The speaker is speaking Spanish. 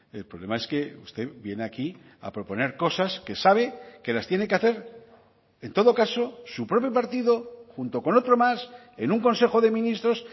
el problema es que usted viene aquí a proponer cosas que sabe que las tiene que hacer en todo caso su propio partido junto con otro más en un consejo de ministros